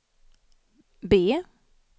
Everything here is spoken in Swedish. B